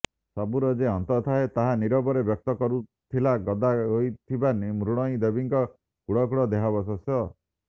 ସବୁର ଯେ ଅନ୍ତ ଥାଏ ତାହା ନିରବରେ ବ୍ୟକ୍ତ କରୁଥିଲା ଗଦା ହୋଇଥିବା ମୃଣ୍ମୟୀ ଦେବୀଙ୍କ କୁଢ଼କୁଢ଼ ଦେହାବଶେଷ